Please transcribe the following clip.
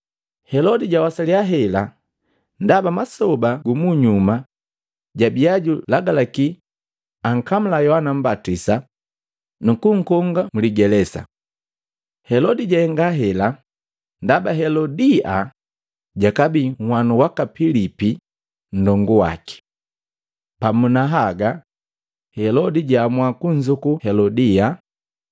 Helodi jawasalya hela ndaba masoba gumunyuma jabia julagalaki ankamula Yohana Mmbatisa, nukunkonga mligelesa. Helodi jahenga hela ndaba Helodia jakabii nhwanu waka Pilipi nndongu waki. Pamu na haga Helodi jaamua kunzuku Helodia.